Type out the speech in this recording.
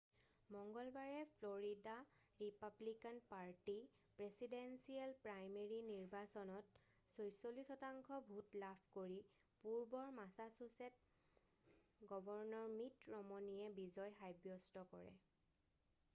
মঙ্গলবাৰে Florida Republican party presidential primary নিৰ্বাচনত 46 শতাংশ ভোট লাভ কৰি পূৰ্বৰ মাছাছুছেট গৱৰ্ণৰ মিট ৰমনিয়ে বিজয় সাব্যস্ত কৰে